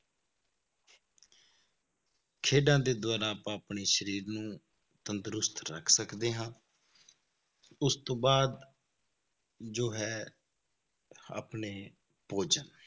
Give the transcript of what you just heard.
ਖੇਡਾਂ ਦੇ ਦੁਆਰਾ ਆਪਾਂ ਆਪਣੇ ਸਰੀਰ ਨੂੰ ਤੰਦਰੁਸਤ ਰੱਖ ਸਕਦੇ ਹਾਂ ਉਸ ਤੋਂ ਬਾਅਦ ਜੋ ਹੈ ਆਪਣੇ ਭੋਜਨ